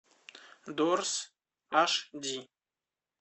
дорз аш ди